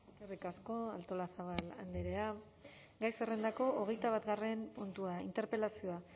eskerrik asko artolazabal andrea gai zerrendako hogeita batgarren puntua interpelazioa